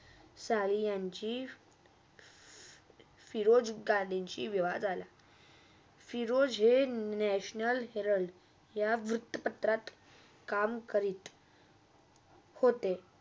साली यांची फिरोज गांधींची विवाध आला फिरोजहे national हेराल्ड यह वृत्तपत्रात काम करीत होते.